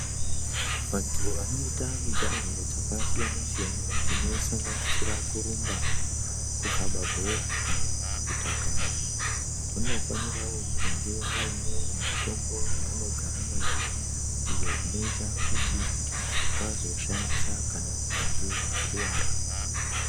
Vantu vanoita mijaho dzakasiyana siyana dzinosanganisira kurumba, kukababhora, kana kutakana vanofanira kunge vainewo mitombo yavanogara nayo iyo inoite kuti vazoshandisa kana veinge vakuwara.